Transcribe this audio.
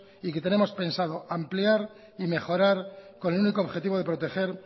y que tenemos pensado ampliar y mejorar con el único objetivo de proteger